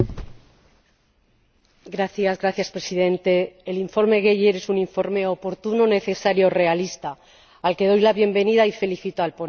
Señor Presidente, el informe Geier es un informe oportuno, necesario y realista, al que doy la bienvenida, y felicito al ponente.